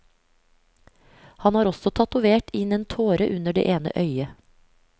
Han har også tatovert inn en tåre under det ene øyet.